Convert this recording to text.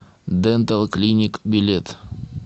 дэнтал клиник билет